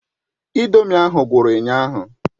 Ị̀ndómị́ ahụ gwụrụ ụnyaahụ.